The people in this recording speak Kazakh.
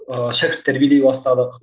ыыы шәкірт тәрбиелей бастадық